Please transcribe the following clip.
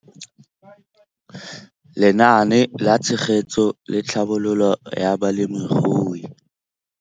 Lenaane la Tshegetso le Tlhabololo ya Balemirui